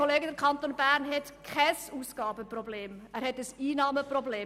Der Kanton Bern hat kein Ausgabenproblem, er hat ein Einnahmenproblem.